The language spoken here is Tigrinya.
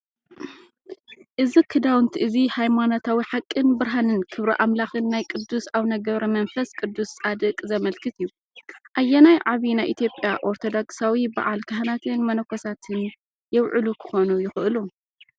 እዚ ክዳውንቲ እዚ ሃይማኖታዊ ሓቅን ብርሃንን ክብሪ ኣምላኽን ናይ ቅዱስ ኣውነ ገ/መንፈስቅዱስ ፃድቕ ዘመልክት እዩ። ኣየናይ ዓቢ ናይ ኢትዮጵያ ኦርቶዶክሳዊ በዓል ካህናትን መነኮሳትን የብዕሉ ክኾኑ ይኽእሉ?